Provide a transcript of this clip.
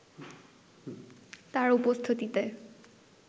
তার উপস্থিতিতে